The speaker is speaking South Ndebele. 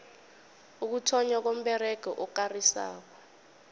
ukuthonnywa komberego okarisako